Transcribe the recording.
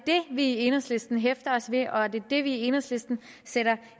vi i enhedslisten hæfter os ved og det er det vi i enhedslisten sætter